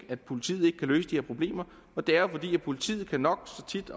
at politiet ikke kan løse de her problemer det er jo fordi politiet nok så tit